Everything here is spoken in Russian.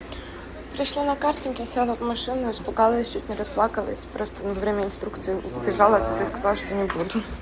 пришли на картинги села в машину испугалась чуть не расплакалась просто во время инструкции убежала и сказала что-нибудь